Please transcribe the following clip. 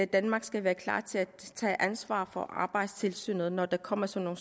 danmark skal være klar til at tage ansvar for arbejdstilsynet når der kommer sådan